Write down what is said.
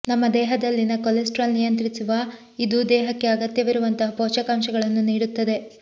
ನಮ್ಮ ದೇಹದಲ್ಲಿನ ಕೊಲೆಸ್ಟ್ರಾಲ್ ನಿಯಂತ್ರಿಸುವ ಇದು ದೇಹಕ್ಕೆ ಅಗತ್ಯವಿರುವಂತಹ ಪೋಷಕಾಂಶಗಳನ್ನು ನೀಡುತ್ತದೆ